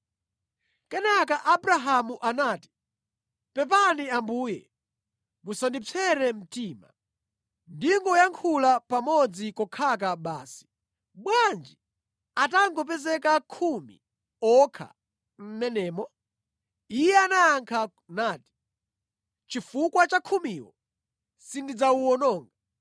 Kenaka Abrahamu anati, “Pepani Ambuye musandipsere mtima, ndingoyankhula kamodzi kokhaka basi. Bwanji atangopezeka khumi okha mʼmenemo?” Iye anayankha nati, “Chifukwa cha khumiwo, sindidzawuwononga.”